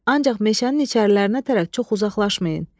Ancaq meşənin içərilərinə tərəf çox uzaqlaşmayın.